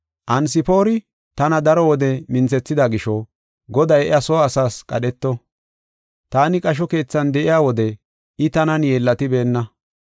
Anesfoori tana daro wode minthethida gisho Goday iya soo asaas qadheto. Taani qasho keethan de7iya wode I tanan yeellatibeenna.